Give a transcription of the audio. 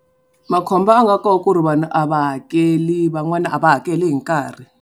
Makhombo a nga koho ku ri vanhu a va hakeli van'wana a va hakeli hi nkarhi.